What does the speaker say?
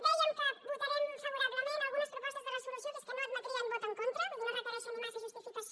dèiem que votarem favorablement algunes propostes de resolució que és que no admetrien vot en contra vull dir no requereixen ni massa justificació